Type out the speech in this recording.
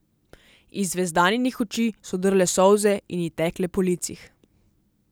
Iz Zvezdaninih oči so drle solze in ji tekle po licih.